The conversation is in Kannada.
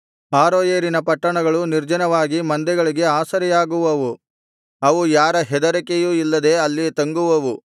ಆರೋಯೇರಿನ ಪಟ್ಟಣಗಳು ನಿರ್ಜನವಾಗಿ ಮಂದೆಗಳಿಗೆ ಆಸರೆಯಾಗುವವು ಅವು ಯಾರ ಹೆದರಿಕೆಯೂ ಇಲ್ಲದೆ ಅಲ್ಲಿ ತಂಗುವವು